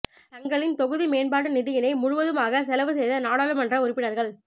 தங்களின் தொகுதி மேம்பாட்டு நிதியினை முழுவதுமாக செலவு செய்த நாடாளுமன்ற உறுப்பினர்கள்